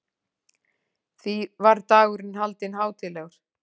Því var dagurinn haldinn hátíðlegur.